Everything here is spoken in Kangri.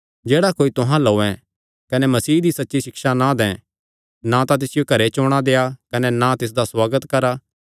जे कोई तुहां अल्ल औयें कने मसीह दी सच्ची सिक्षा ना दैं ना तां तिसियो घरे च औणां देआ कने ना तिसदा सुआगत करा